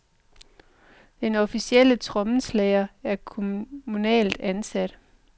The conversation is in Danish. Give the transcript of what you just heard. Den officielle trommeslager er kommunalt ansat.